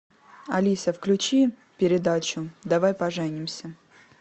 алиса включи передачу давай поженимся